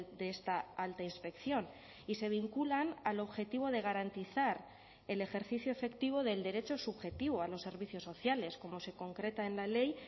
de esta alta inspección y se vinculan al objetivo de garantizar el ejercicio efectivo del derecho subjetivo a los servicios sociales como se concreta en la ley